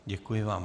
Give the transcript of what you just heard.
Děkuji vám.